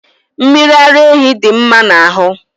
mmiri ara ehi dị mma n'ahụ